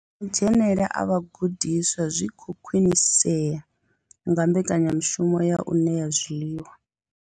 Na madzhenele a vhagudiswa zwi khou khwinisea nga mbekanyamushumo ya u ṋea zwiḽiwa.